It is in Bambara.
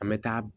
An bɛ taa